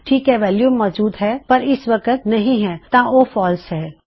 ਯਾਨੀ ਕਿ ਵੈਲਯੂ ਮੌਜੂਦ ਹੈ ਪਰ ਇਸ ਵਕਤ ਨਹੀ ਹੈ ਤਾਂ ਉਹ ਫਾਲਸ ਹੈ